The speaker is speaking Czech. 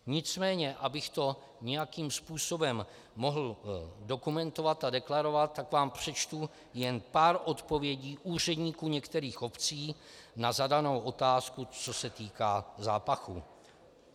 Nicméně abych to nějakým způsobem mohl dokumentovat a deklarovat, tak vám přečtu jen pár odpovědí úředníků některých obcí na zadanou otázku, co se týká zápachu.